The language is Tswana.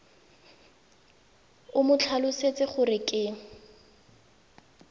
o mo tlhalosetse gore ke